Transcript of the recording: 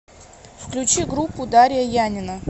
включи группу дария янина